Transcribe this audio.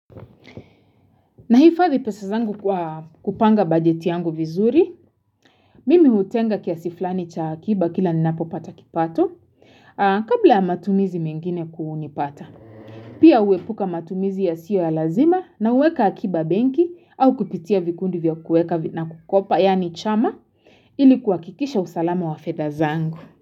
Nahifadhi pesa zangu kwa kupanga bajeti yangu vizuri, mimi utenga kiasi flani cha akiba kila ninapopata kipato kabla ya matumizi mingine kunipata. Pia huepuka matumizi yasiyo ya lazima na uweka akiba benki au kupitia vikundi vya kueka na kukopa yani chama ili kuhakikisha usalama wa fedha zangu.